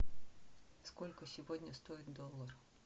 сколько сегодня стоит доллар